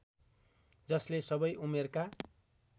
जसले सबै उमेरका